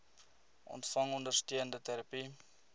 ontvang ondersteunende terapie